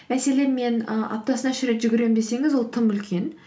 мәселен мен ы аптасына үш рет жүгіремін десеңіз ол тым үлкен